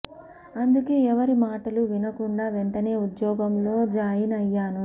అందుకే ఎవరి మాటలూ వినకుండా వెంటనే ఉద్యోగం లో జాయిన్ అయ్యాను